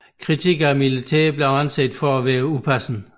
Kritik af militæret blev anset for upassende